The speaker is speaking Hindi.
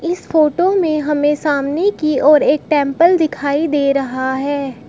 इस फोटो में हमें सामने की ओर एक टेंपल दिखाई दे रहा है।